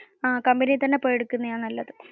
അഹ് കമ്പനിയിൽ തന്നെ പോയി എടുക്കുന്നത് നല്ലതു.